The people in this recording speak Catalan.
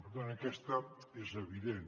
per tant aquesta és evident